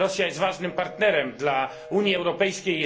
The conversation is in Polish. Rosja jest ważnym partnerem dla Unii Europejskiej.